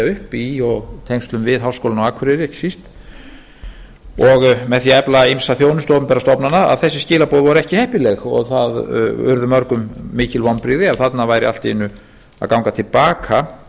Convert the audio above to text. upp og í tengslum við háskólann á akureyri ekki síst og með því að efla ýmsa þjónustu opinberra stofnana að þessi skilaboð voru ekki heppileg það urðu mörgum mikil vonbrigði að þarna væru allt í einu að ganga til baka